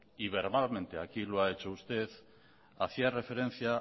y verbalmente aquí lo ha hecho usted hacía referencia